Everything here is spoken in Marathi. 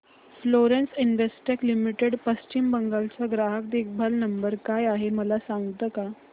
Florence Investec Limited Paschim Bengal चा ग्राहक देखभाल नंबर काय आहे मला सांगता का